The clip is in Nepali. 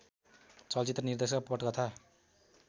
चलचित्र निर्देशक पटकथा